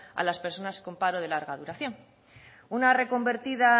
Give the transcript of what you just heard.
a las personas con paro de larga duración una reconvertida